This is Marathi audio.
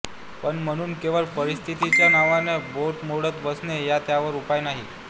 पण म्हणून केवळ परिस्थितीच्या नावानं बोटं मोडत बसणं हा त्यावर उपाय नाही